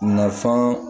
Nafan